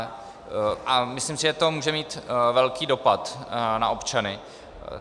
A myslím si, že to může mít velký dopad na občany.